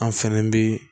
An fɛnɛ bi